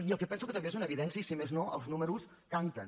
i penso que també és una evidència i si més no els números canten